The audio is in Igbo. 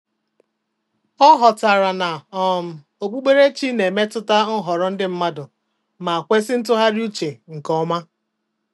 Ọ ghọtara na um okpukperechi na-emetụta nhọrọ ndị mmadụ ma kwesị ntụgharị uche nke ọma.